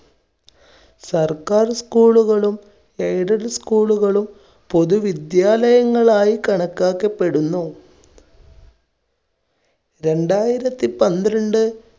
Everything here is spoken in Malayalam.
സർക്കാർ school കളും aided school കളും പൊതു വിദ്യാലയങ്ങളായി കണക്കാക്കപ്പെടുന്നു. രണ്ടായിരത്തി പന്ത്രണ്ട്